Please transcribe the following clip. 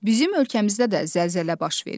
Bizim ölkəmizdə də zəlzələ baş verir.